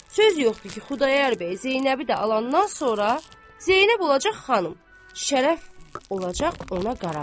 Söz yoxdur ki, Xudayar bəy Zeynəbi də alandan sonra, Zeynəb olacaq xanım, Şərəf olacaq ona qarabaş.